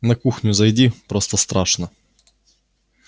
на кухню зайти просто страшно